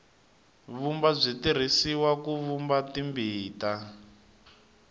vumba byi tirhisiwa ku vumba timbita